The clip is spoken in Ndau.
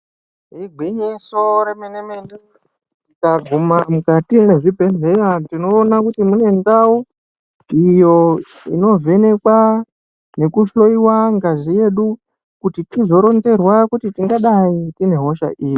Igwinyiso remene-mene, kuti mukati mwezvibhedheya, tinoona kuti mune ndau, iyo inovhenekwa nekuhloiwa ngazi yedu ,kuti tizoronzerwa kuti tingadai tine hosha iri .